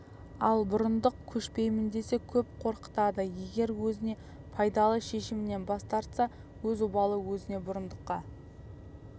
ал бұрындық көшпеймін десе көп қорқытады егер өзіне пайдалы шешімнен бас тартса өз обалы өзіне бұрындыққа